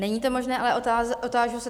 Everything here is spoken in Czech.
Není to možné, ale otážu se.